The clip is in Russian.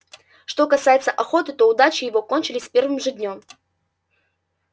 что касается охоты то удачи его кончились с первым же днём